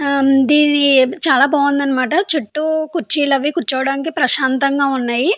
ఇది చాలా బాగుందన్నమాట. చుట్టూ కుర్చీలు కూర్చోడానికి ప్రశాంతంగా ఉన్నాయి.